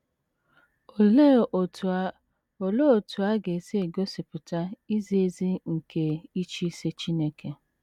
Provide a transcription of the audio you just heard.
Olee otú a Olee otú a ga - esi egosipụta izi ezi nke ịchịisi Chineke?